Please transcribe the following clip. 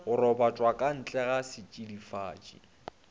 go robatšwa ka ntlega setšidifatši